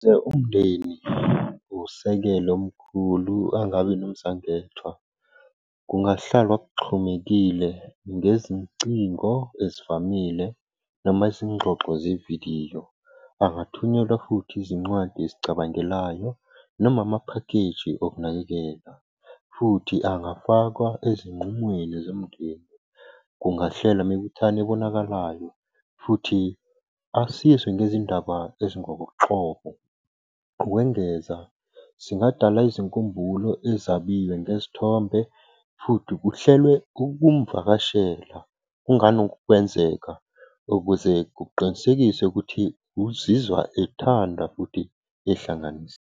Umndeni usekela umkhulu angabi nomzwangedwa. Kungahlalwa kuxhumekile ngezincingo ezivamile noma izingxoxo zevidiyo. Angathunyelwa futhi izincwadi ezicabangelayo noma amaphakheji okunakekela. Futhi angafakwa ezinqumweni zomndeni. Kungahlelwa imibuthano ebonakalayo, futhi asizwe ngezindaba . Ukwengeza singadala izinkumbulo ezabiwe ngezithombe, futhi kuhlelwe ukumuvakashela, kunganokwenzeka ukuze kuqinisekiswe ukuthi uzizwa ethandwa futhi ehlanganisa.